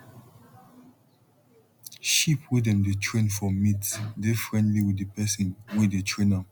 sheep wey dem dey train for meat dey friendly with di pesin wey dey train am